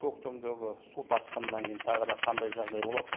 көктемдегі су тасқынынан кейін тағы да қандай жағдай болады